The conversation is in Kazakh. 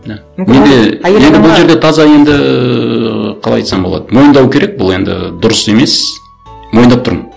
да таза енді ыыы қалай айтсам болады мойындау керек бұл енді дұрыс емес мойындап тұрмын